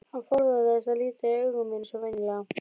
Hann forðaðist að líta í augu mér eins og venjulega.